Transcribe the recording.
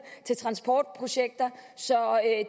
til transportprojekter så